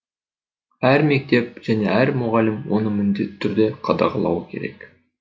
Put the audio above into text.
әр мектеп және әр мұғалім оны міндетті түрде қадағалауы керек